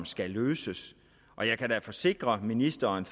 skal løses og jeg kan da forsikre ministeren